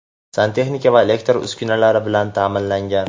santexnika va elektr uskunalari) bilan ta’minlangan.